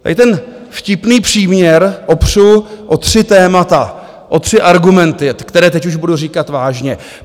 Tady ten vtipný příměr opřu o tři témata, o tři argumenty, které teď už budu říkat vážně.